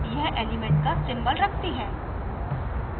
यह element का symbol रखती है